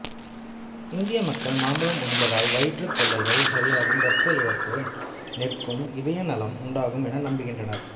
இந்திய மக்கள் மாம்பழம் உண்பதால் வயிற்றுத் தொல்லைகள் சரியாகும் இரத்த இழப்பு நிற்கும் இதய நலம் உண்டாகும் என நம்புகின்றனர்